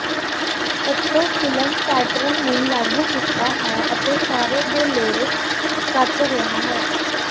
ਕੱਟੋ film pattern ਨੂੰ ਲਾਗੂ ਕੀਤਾ ਹੈ ਅਤੇ ਸਾਰੇ ਬੇਲੋੜੇ ਕੱਟ ਰਿਹਾ ਹੈ